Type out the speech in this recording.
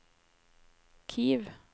Kiev